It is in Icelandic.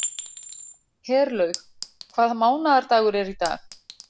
Herlaug, hvaða mánaðardagur er í dag?